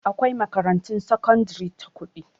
Akwai makarantun sakandare ta kuɗi